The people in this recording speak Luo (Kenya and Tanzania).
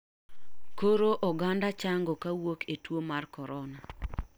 Koro oganda chang'o kawuok e tuo mar korora.